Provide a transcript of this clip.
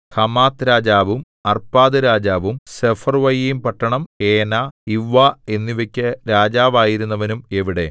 Hamath രാജാവും Arpad രാജാവും സെഫർവ്വയീംപട്ടണം ഹേന ഇവ്വ എന്നിവയ്ക്കു രാജാവായിരുന്നവനും എവിടെ